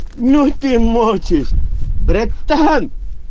ну ты мочишь братан